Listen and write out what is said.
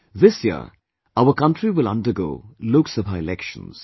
This year, our Country will undergo Lok Sabha elections